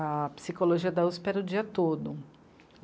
A psicologia da u esse pê era o dia todo.